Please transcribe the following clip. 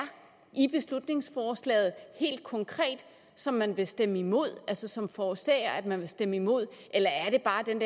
i beslutningsforslaget som man vil stemme imod altså som forårsager at man vil stemme imod eller er det bare den